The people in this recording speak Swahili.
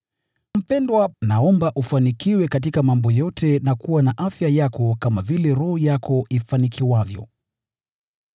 Mpendwa, naomba ufanikiwe katika mambo yote na kuwa na afya njema kama vile roho yako ifanikiwavyo.